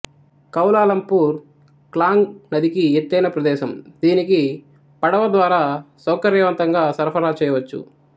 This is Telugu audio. కౌలాలంపూర్ క్లాంగ్ నదికి ఎత్తైన ప్రదేశం దీనికి పడవ ద్వారా సౌకర్యవంతంగా సరఫరా చేయవచ్చు